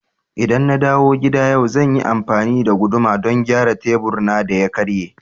ldan na dawo gida yau, zan yi amfani da guduma don gyara tebur na da ya karye.